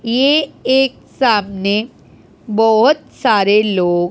ये एक सामने बहुत सारे लोग--